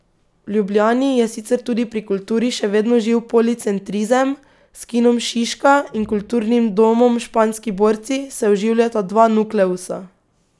V Ljubljani je sicer tudi pri kulturi še vedno živ policentrizem, s Kinom Šiška in Kulturnim domom Španski borci se oživljata dva nukleusa.